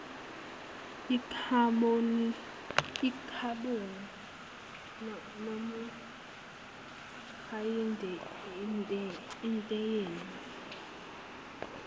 ikhabhoni monoksayidi itiyela